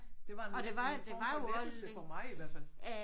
Det var en let det var en form for lettelse for mig i hvert fald